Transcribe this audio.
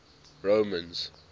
romans